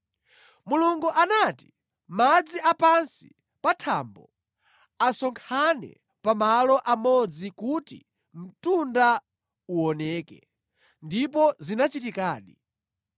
Mulungu anati, “Madzi a pansi pa thambo asonkhane pa malo amodzi kuti mtunda uwoneke,” ndipo zinachitikadi.